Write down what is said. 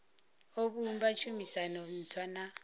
o vhumba tshumisano ntswa na